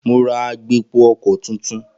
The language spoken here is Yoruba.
Mo ra agbépo-ọkọ̀ tuntun.